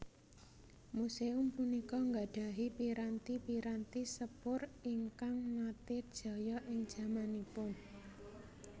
Museum punika nggadhahi piranti piranti sepur ingkang nate jaya ing jamanipun